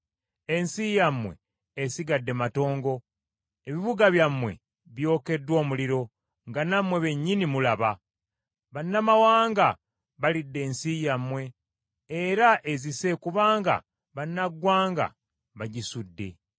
Ensi yammwe esigadde matongo, ebibuga byammwe byokeddwa omuliro, nga nammwe bennyini mulaba. Bannamawanga balidde ensi yammwe, era ezise kubanga bannaggwanga bagisudde.